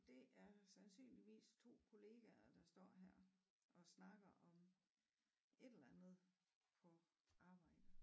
Det er sandsynligvis 2 kollegaer der står her og snakker om et eller andet på arbejde